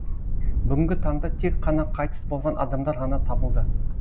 бүгінгі таңда тек қана қайтыс болған адамдар ғана табылды